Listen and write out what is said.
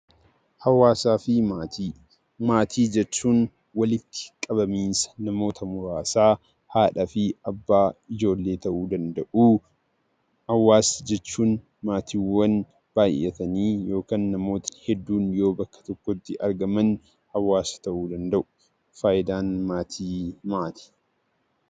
Hawaasaa fi Maatii Maatii jechuun walitti qabamiinsa namoota muraasaa, haadhaa fi abbaa ijoollee ta'uu danda'u. Hawaasa jechuun maatiiwwan baay'atanii yookaan namoota hedduun yoo bakka tokkotti argaman hawaasa ta'uu danda'u. Faayidaan maatii maali?